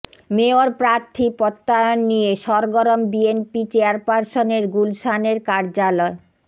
mayor প্রার্থী প্রত্যয়ন নিয়ে সরগরম বিএনপি চেয়াপারসনের গুলশানের কার্যালয়